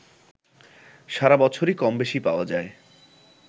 সারা বছরই কমবেশি পাওয়া যায়